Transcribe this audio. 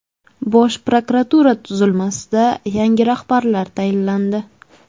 Bosh prokuratura tuzilmasida yangi rahbarlar tayinlandi.